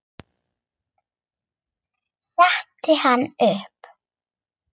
Setti hana upp.